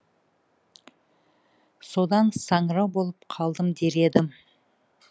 содан саңырау болып қалдым дер едім